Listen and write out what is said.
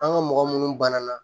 An ka mɔgɔ munnu banana